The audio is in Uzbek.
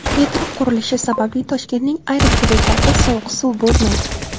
Metro qurilishi sababli Toshkentning ayrim hududlarida sovuq suv bo‘lmaydi.